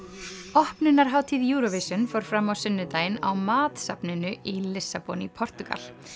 opnunarhátíð Eurovision fór fram á sunnudaginn á MAAT safninu í Lissabon í Portúgal